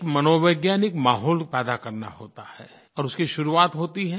एक मनोवैज्ञानिक माहौल पैदा करना होता है और उसकी शुरुआत होती है